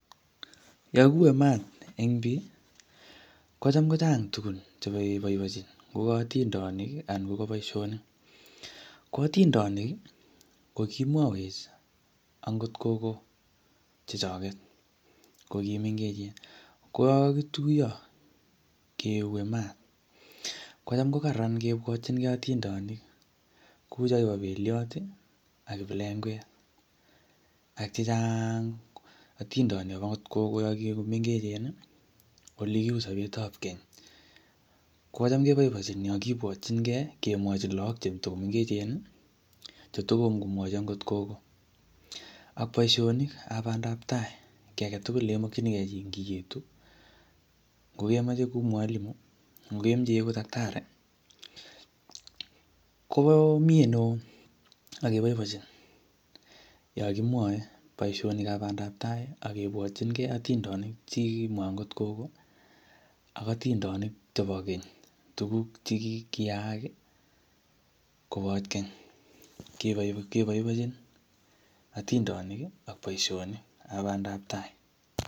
yoon kiuei maat en bii, ko cham kochang tuguuk chegeboiboenchin ko gaotindoniik anan ko boishoniik ko otindoniik ko kimwoweech angoot kogo chechoget kimengechen, ko yoon kogituyoo keuei maat kocham kogaraan kibwotigee otindoonik kouu chegibo belyoot ak kiplengweet ak chechaang atindoniik agoot kogoo yon kigimengechen iih olegiuu sobeet ab keny, kochaam keboiboenchin yoon kiibwotyin kee kemwochin loog chetagomengechen iih chetom komwochi agoot kogoo ak baishonik ab bandaab taai kegeet tugul yemokyinigee chii ngietu ngemoche iegu mwalimu ngo kemoche iegu taktari koo myee neoo ak keboibochin yon kemwoee boishonik ab bandaab tai ak kebwotingee otindoniik chegimwoo agoot kogo ak atindooniik chebo keny tuguuk chegiyaak iih kobooch keny, keboiboenjin iih atindoniik iih ak boishonik ab bandaab tai.